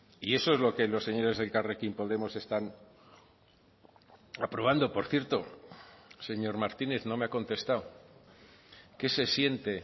y eso es lo que los señores de elkarrekin podemos están aprobando por cierto señor martínez no me ha contestado qué se siente